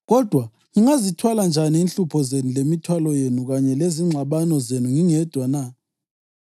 Kodwa ngingazithwala njani inhlupho zenu lemithwalo yenu kanye lezingxabano zenu ngingedwa na?